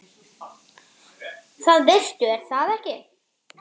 Það veistu er það ekki?